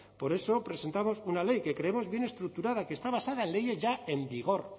por eso presentamos una ley que creemos bien estructurada que está basada en leyes ya en vigor